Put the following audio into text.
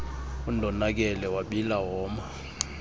undonakele wabila woma